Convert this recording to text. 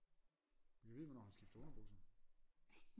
Gad vide hvornår han skifter underbukser